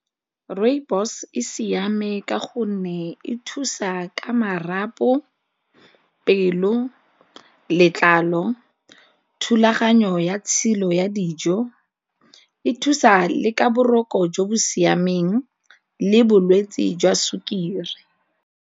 Rooibos e siame ka gonne e thusa ka marapo, pelo, letlalo, thulaganyo ya tshilo ya dijo, e thusa le ka boroko jo bo siameng le bolwetsi jwa sukiri.